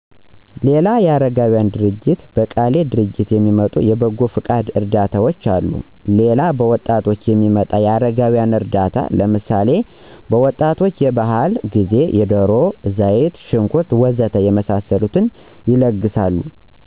ሌላ የ አረጋውያን ድርጅት፤ በቀሌ ደረጃ የሚመጡ የበጓ ፍቃድ እርዳታዎች አሉ ሌላ በወጣቶች የሚመጣ የ አረጋውያን እርዳታ ለምሳሌ፦ ወጣቶች ባህል ጊዜ ደሮ፣ ዘይት ሽንኩር ወ.ዘ.ተ የመሳስሉትን ይለግሳሉ